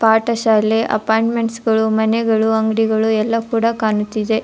ಪಾಠ ಶಾಲೆ ಅಪ್ಪೋಯಿಂಟ್ಮೆಂಟ್ಸ್ ಗಳು ಮನೆಗಳು ಅಂಗಡಿಗಳು ಎಲ್ಲಾ ಕೂಡ ಕಾಣುತ್ತಿದೆ.